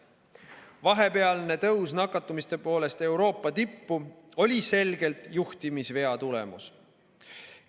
Vahepealne tõus nakatumiste poolest Euroopa tippu oli selgelt juhtimisvea tulemus.